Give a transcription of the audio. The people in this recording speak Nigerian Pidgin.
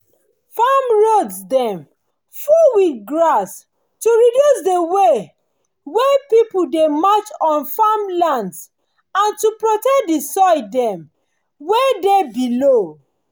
farm roads dem full with grass to reduce d way wey people dey march on farmlands and to protect the soil dem wey dey below